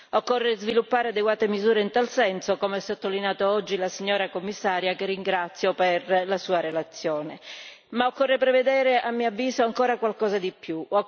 Occorre sviluppare adeguate misure in tal senso come ha sottolineato oggi il Commissario che ringrazio per la sua relazione ma occorre prevedere a mio avviso ancora qualcosa di più.